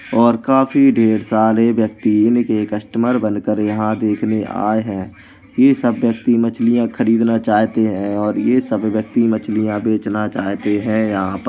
और काफी ढेर सारे व्यक्ति इनके कस्टमर बनकर यहाँ देखने आए हैं। ये सब व्यक्ति मछलियाँ खरीदना चाहते हैं और यह सभी व्यक्ति मछलियाँ बेचना चाहते हैं यहाँ पर --